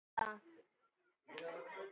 Já, en svona er þetta.